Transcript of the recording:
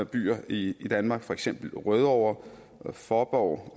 byer i danmark for eksempel rødovre fåborg